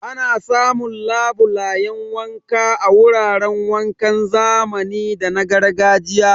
Ana samun labulan wanka a wuraran wankan zamani da na gargajiya.